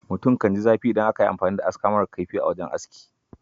Mutum kan ji zafi idan aka yi amfani da aska mara kaifi a wajen aski.